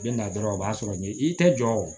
Bɛ na dɔrɔn o b'a sɔrɔ ye i tɛ jɔ